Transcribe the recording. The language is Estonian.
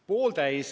Pooltäis.